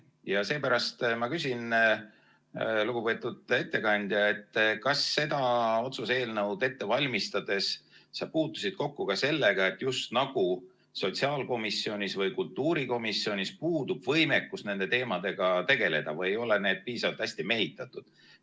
Ja seepärast ma küsin, lugupeetud ettekandja, kas seda otsuse eelnõu ette valmistades sa puutusid kokku ka sellega, just nagu sotsiaalkomisjonis või kultuurikomisjonis puudub võimekus nende teemadega tegeleda või ei ole need piisavalt hästi mehitatud.